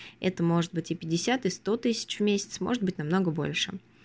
это может быть и пятьдесят и сто тысяч в месяц может быть намного больше